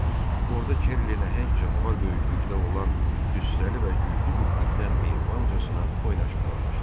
Orda Kerli nəhəng canavar böyüklükdə olan cüssəli və güclü bir itlə mehribancasına oynaşmağa başladı.